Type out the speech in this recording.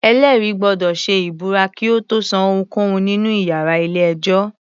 Ẹ̀lẹ́rìí gbọ́dọ̀ ṣe ìbúra kí ó tó sọ ohunkóhun nínú iyàrá ilé-ẹjọ́.